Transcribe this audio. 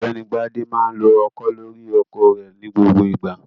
OỌ̀gbẹ́ni Bádé máa ń lo ọkọ́ lórí oko rẹ̀ ní gbogbo ìgbà.